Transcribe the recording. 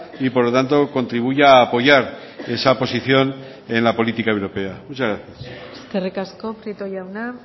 y por lo tanto contribuya a apoyar esa posición en la política europea muchas gracias eskerrik asko prieto jauna